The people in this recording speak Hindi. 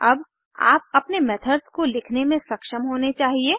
अब आप अपने मेथड्स को लिखने में सक्षम होने चाहिए